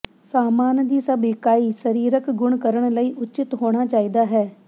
ਸਾਮਾਨ ਦੀ ਸਭ ਇਕਾਈ ਸਰੀਰਕ ਗੁਣ ਕਰਨ ਲਈ ਉਚਿਤ ਹੋਣਾ ਚਾਹੀਦਾ ਹੈ